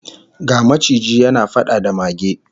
Ga maciji yana fada da mage